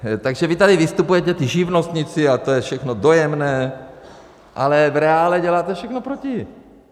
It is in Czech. Takže vy tady vystupujete, ti živnostníci, a to je všechno dojemné, ale v reálu děláte všechno proti.